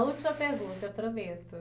A última pergunta, eu prometo.